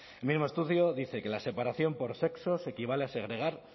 el mismo estudio dice que la separación por sexos equivale a segregar